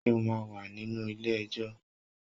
Ṣé o máa wà nínú ilé ẹjọ́?